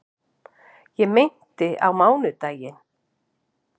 Ég meinti á mánudaginn.